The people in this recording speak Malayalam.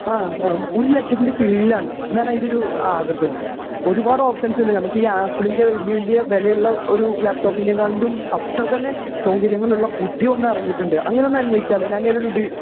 ആ ആ. ഒരു ലക്ഷത്തിന്റെ കീഴിലാണ്. അതാണ് അതിൻറെ ഒരു ആകർഷണം. ഒരുപാട് ഓപ്ഷൻസ് ഉണ്ട്. നമുക്കീ ആപ്പിളിന്റെ വലിയ വലിയ വിലയുള്ള ഒരു ലാപ്ടോപ്പിക്കാളും അത്രതന്നെ സൗകര്യങ്ങളുള്ള പുതിയ ഒന്നു ഇറങ്ങിയിട്ടുണ്ട്. അങ്ങനെയൊന്ന് അന്വേഷിച്ചാലോ? ഞാൻ അതിനെ...